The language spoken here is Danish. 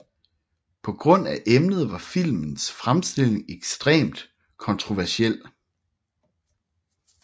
På grund af emnet var filmens fremstilling ekstremt kontroversiel